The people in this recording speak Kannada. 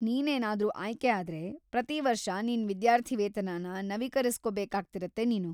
ನೀನೇನಾದ್ರು ಆಯ್ಕೆ ಆದ್ರೆ, ಪ್ರತೀ ವರ್ಷ ನಿನ್ ವಿದ್ಯಾರ್ಥಿವೇತನನ ನವೀಕರಿಸ್ಕೋ ಬೇಕಾಗ್ತಿರತ್ತೆ ನೀನು.